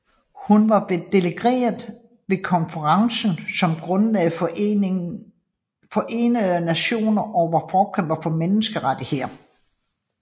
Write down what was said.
Hun var delegeret ved konferencen som grundlagde Forenede Nationer og var forkæmper for menneskerettigheder